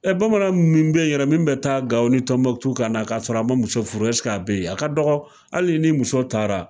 bamanan min be yen yɛrɛ min bɛ taa Gawo ni Tɔnmɔtu ka na, ka sɔrɔ a ma muso furu ka be yen wa, a ka dɔgɔ hali n'i muso taara